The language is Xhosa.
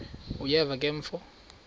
uyeva ke mfo